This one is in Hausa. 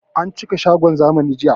An cika shagon zamani jiya